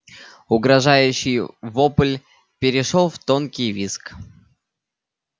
угрожающий вопль перешёл в тонкий визг